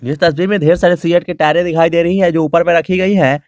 इस तस्वीर में ढेर सारे सीऐट के टायरे दिखाई दे रही है जो ऊपर में रखी गई है।